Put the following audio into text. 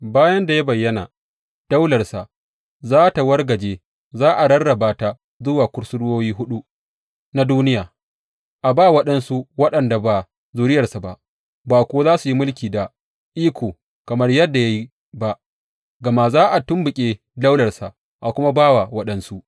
Bayan da ya bayyana, daularsa za tă wargaje za a rarraba ta zuwa kusurwoyi huɗu na duniya, a ba waɗansu waɗanda ba zuriyarsa ba, ba kuwa za su yi mulki da iko kamar yadda ya yi ba, gama za a tumɓuki daularsa a kuma ba wa waɗansu.